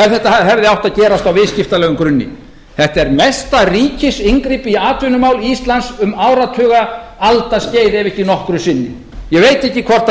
ef þetta hefði átt að gerast á viðskiptalegum grunni þetta er mesta ríkisinngrip í atvinnumál íslands um áratuga aldaskeið ef ekki nokkru sinni ég veit ekki hvort